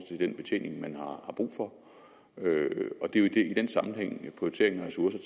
den betjening man har brug for og det er jo i den sammenhæng at prioriteringen af ressourcer